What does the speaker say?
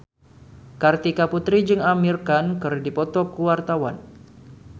Kartika Putri jeung Amir Khan keur dipoto ku wartawan